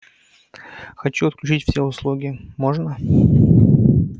хочу отключить все услуги можно